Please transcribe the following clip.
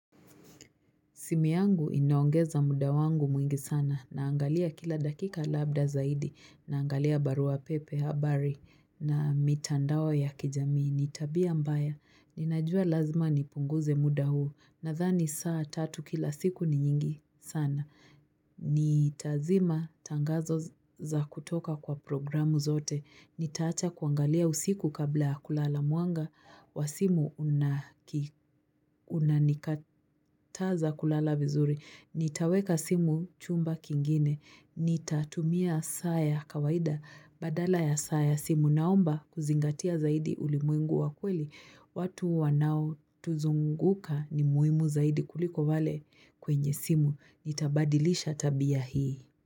Simi yangu inaongeza muda wangu mwingi sana naangalia kila dakika labda zaidi naangalia baruapepe habari na mitandao ya kijamii ni tabia mbaya. Ninajua lazima nipunguze muda huu nadhani saa tatu kila siku ni nyingi sana. Nitazima tangazo za kutoka kwa programu zote Nitaacha kuangalia usiku kabla kulala mwanga wa simu unanikataza kulala vizuri Nitaweka simu chumba kingine Nitatumia saa ya kawaida Badala ya saa simu naomba kuzingatia zaidi ulimwengu wa kweli watu wanaotuzunguka ni muhimu zaidi kuliko wale kwenye simu Nitabadilisha tabia hii.